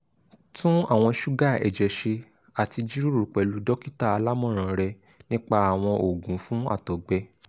tun awọn suga ẹjẹ ṣe ati jiroro pẹlu dokita alamọran rẹ nipa awọn oogun fun àtọgbẹ